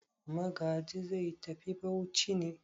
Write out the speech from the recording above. Magaji zai tafi Bauchi ne?